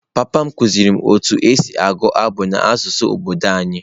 Papa m kụziiri m otú e si agụ abụ n’asụsụ obodo anyị.